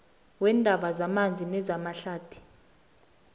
weendaba zamanzi nezamahlathi